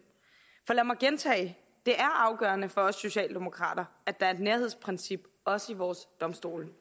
så lad mig gentage det er afgørende for os socialdemokrater at der er et nærhedsprincip også i vores domstole